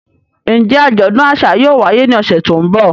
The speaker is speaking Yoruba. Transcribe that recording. Njẹ ajọdun aṣa yóò waye ni ọsẹ to nbọ?